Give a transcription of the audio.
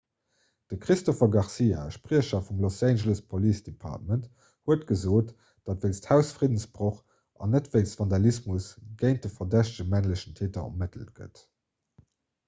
de christopher garcia e spriecher vum los angeles police department huet gesot datt wéinst hausfriddensbroch an net wéinst vandalismus géint de verdächtege männlechen täter ermëttelt gëtt